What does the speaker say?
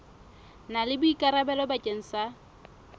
na le boikarabelo bakeng sa